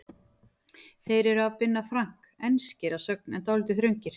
Þeir eru af Binna Frank, enskir að sögn en dálítið þröngir.